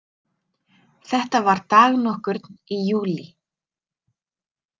Þetta var dag nokkurn í júlí.